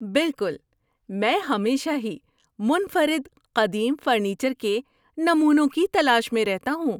بالکل! میں ہمیشہ ہی منفرد قدیم فرنیچر کے نمونوں کی تلاش میں رہتا ہوں۔